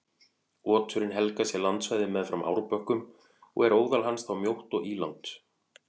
Oturinn helgar sér landsvæði meðfram árbökkum og er óðal hans þá mjótt og ílangt.